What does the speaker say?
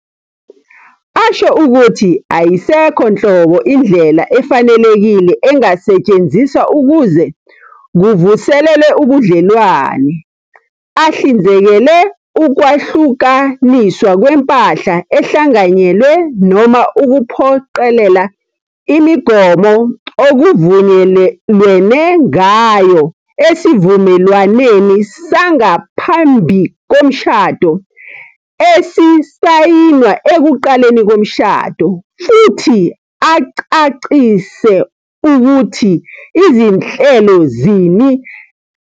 .asho ukuthi ayisekho nhlobo indlela efanelekile engasetshenziswa ukuze kuvuselelwe ubudlelwane, ahlinzekele ukwahlukaniswa kwempahla ehlanganyelwe noma ukuphoqelela imigomo okuvunyelwene ngayo esivumelwaneni sangaphambi komshado esisayinwa ekuqaleni komshado, futhi acacise ukuthi zinhlelo zini ezizokwenziwa ngezingane zabalingani, njengokuthi ingane izohlala nobani."